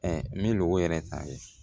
min b'o yɛrɛ ta ye